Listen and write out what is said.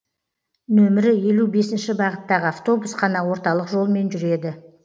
нөмірі елу бесінші бағыттағы автобус қана орталық жолмен жүреді